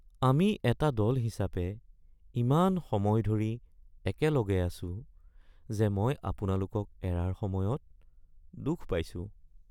আমি এটা দল হিচাপে ইমান সময় ধৰি একেলগে আছো যে মই আপোনালোকক এৰাৰ সময়ত দুখ পাইছো